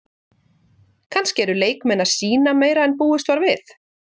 Kannski eru leikmenn að sýna meira en búist var við?